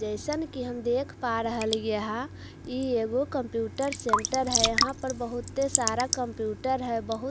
जैसन के हम देख पा रह लिए है ई ये वो कम्‍प्‍यूटर सेंटर है यहां पर बहुत सारा कम्‍प्‍यूटर है बहुत सारा लेप--